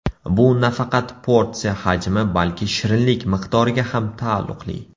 Bu nafaqat porsiya hajmi, balki shirinlik miqdoriga ham taalluqli.